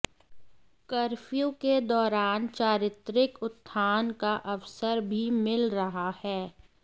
curfew के दौरान चारित्रिक उत्थान का अवसर भी मिल रहा है